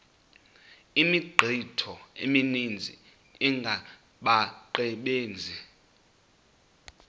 imithqtho emininzi engabaqbenzi